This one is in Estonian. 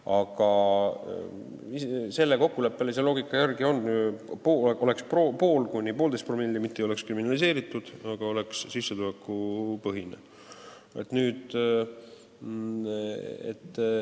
Aga selle meie kokkuleppelise loogika järgi on nii, et 0,5–1,5 promilli ei ole kriminaliseeritud, aga trahv on sissetulekupõhine.